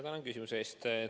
Tänan küsimuse eest!